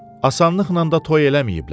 Asanlıqnan da toy eləməyiblər.